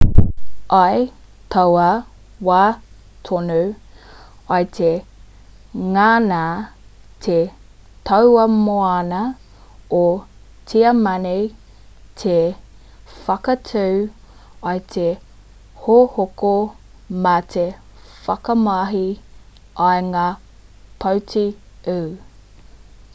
i taua wā tonu i te ngana te tauā-moana o tiamani te whakatū i te hohoko mā te whakamahi i ngā poti-u